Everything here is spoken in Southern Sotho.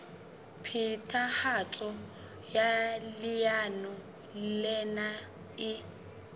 phethahatso ya leano lena e